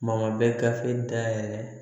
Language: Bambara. Kuma bɛ gafe dayɛlɛ